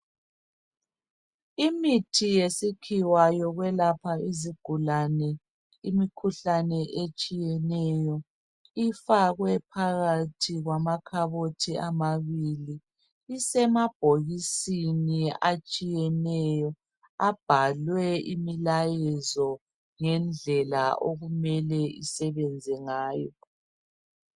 Imithi yesikhiwa yokwelapha izigulane imikhuhlane etshiyeneyo ifakwe phakathi kwamakhabothi amabili isemabhokisini atshiyeneyo abhalwe imilayezo lendlela okumele isebenze ngayo.